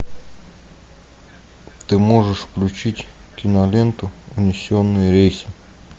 ты можешь включить киноленту унесенные рейсом